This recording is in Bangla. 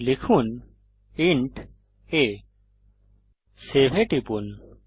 লিখুন ইন্ট a সেভ এ টিপুন